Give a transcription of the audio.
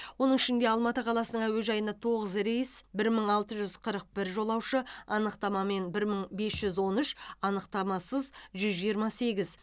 оның ішінде алматы қаласының әуежайына тоғыз рейс бір мың алты жүз қырық бір жолаушы анықтамамен бір мың бес жүз он үш анықтамасыз жүз жиырма сегіз